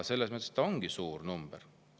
See ongi suur number.